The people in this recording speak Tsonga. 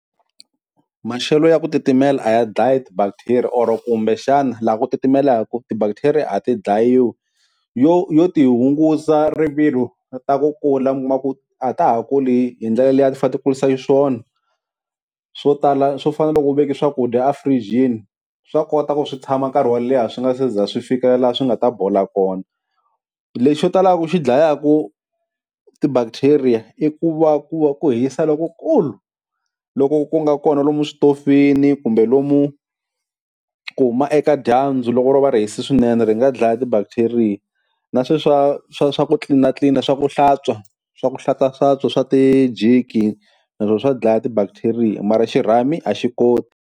Maxelo ya ku titimela a ya dlayi ti-bacteria or kumbexana la ku titimelaku, ti-bacteria a ti dlayiwi yo yo ti hungusa rivilo ta ku kula mi kuma ku a ta ha kuli hindlela leyi a ti fane ti kurisa xiswona, swo tala swo fana na loko u veka swakudya efurijini, swa kota ku swi tshama nkarhi wo leha swi nga se za swi fikela la swi nga ta bola kona, lexo talaka ku xi dlayaku ti-bacteria i ku va ku va ku hisa lokukulu, loku ku nga kona lomu switofini kumbe lomu ku huma eka dyambu loko ro va ri hisa swinene ri nga dlaya ti-bacteria, na sweswiya swa swa swa ku tlilinatlilina swa ku hlantswa swa ku hlantswahlantswa swa ti-jiki, naswona swa dlaya ti-bacteria mara xirhami a xi koti.